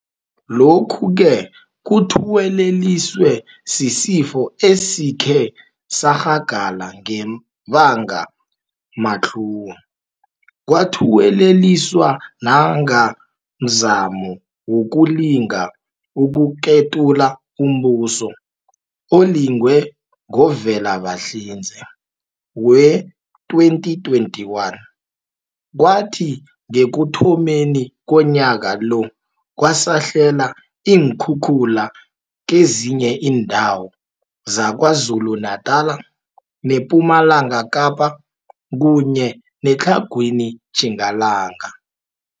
Lokhu-ke kuthuweleliswe sisifo esikhe sarhagala ngebangamatlhuwo, kwathuweleliswa nanga mzamo wokulinga ukuketula umbuso olingwe ngoVelabahlinze wee-2021, kwathi ngekuthomeni komnyaka lo, kwasahlela iinkhukhula kezinye iindawo zaKwaZulu-Natala, nePumalanga Kapa kunye neTlhagwini Tjingalanga.